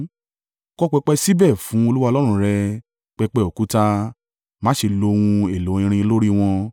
Kọ́ pẹpẹ síbẹ̀ fún Olúwa Ọlọ́run rẹ, pẹpẹ òkúta. Má ṣe lo ohun èlò irin lórí wọn.